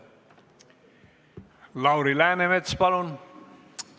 Lauri Läänemets, palun!